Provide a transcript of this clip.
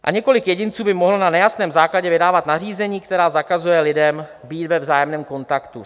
A několik jedinců by mohlo na nejasném základě vydávat nařízení, která zakazují lidem být ve vzájemném kontaktu.